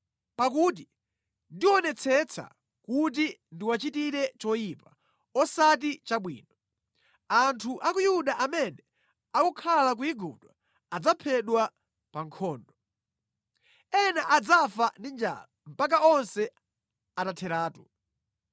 Pakuti ndionetsetsa kuti ndiwachitire choyipa, osati chabwino. Anthu a ku Yuda amene akukhala ku Igupto adzaphedwa pa nkhondo. Ena adzafa ndi njala mpaka onse atatheratu.